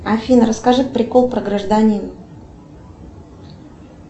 афина расскажи прикол про гражданина